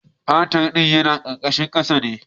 Fetar ɗin yana karkashin kasa ne